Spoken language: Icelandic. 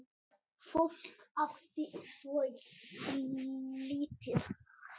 Fólk átti svo lítið.